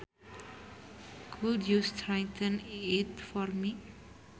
Could you straighten it for me